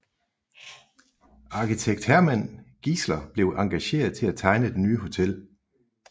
Arkitekt Hermann Giesler blev engageret til at tegne det nye hotel